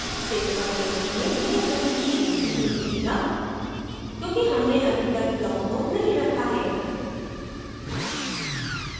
save पर click करें यह कहीं भी नही दिखेगा क्योंकि हमने अभी तक block को नहीं रखा है